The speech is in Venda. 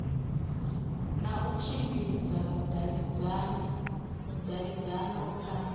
na u tshimbidza vhudavhidzano kha